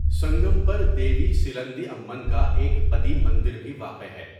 سنگم پر دیوی سیللندی امّن کا ایک قدیم مندر بھی واقع ہے۔